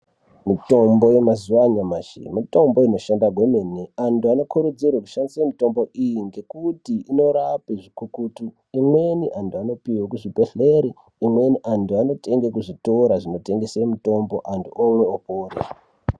Mitombo yemazuwa anyamashi mitombo inoshanda kwemene antu anokurudzirwe kushandise mitombo iyi ngokuti inorape zvikukutu. Imweni antu anopiwe kuzvibhedhlere imweni antu anotenge kuzvitora zvinotengese mitombo antu omwe opona.